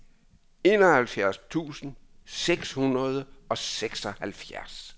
enoghalvfjerds tusind seks hundrede og seksoghalvfjerds